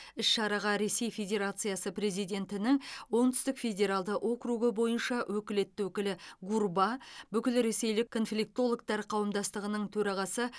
іс шараға ресей федерациясы президентінің оңтүстік федералды округі бойынша өкілетті өкілі гурба бүкілресейлік конфликтологтар қауымдастығының төрағасы